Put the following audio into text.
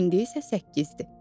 İndi isə səkkizdir.